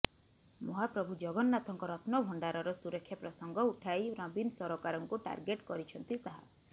ମହାପ୍ରଭୁ ଜଗନ୍ନାଥଙ୍କ ରତ୍ନଭଣ୍ଡାରର ସୁରକ୍ଷା ପ୍ରସଙ୍ଗ ଉଠାଇ ନବୀନ ସରକାରଙ୍କୁ ଟାର୍ଗେଟ କରିଛନ୍ତି ଶାହା